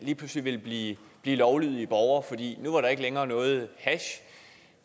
lige pludselig ville blive lovlydige borgere fordi nu var der ikke længere noget hash